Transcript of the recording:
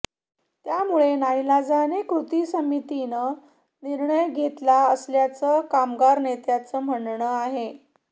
त्यामुळे नाईलाजाने कृती समितीनं निर्णय घेतला असल्याचं कामगार नेत्यांचं म्हणणं आहे